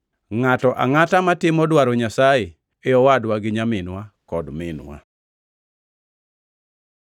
Ngʼato angʼata matimo dwaro Nyasaye e owadwa gi nyaminwa kod minwa.”